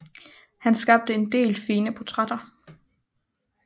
Han skabte en del fine portrætter